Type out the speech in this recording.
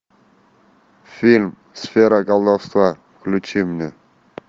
фильм сфера колдовства включи мне